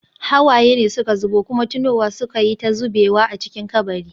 Hawaye ne suka zubo, kuma tunowa suka yi ta zubewa a cikin kabari.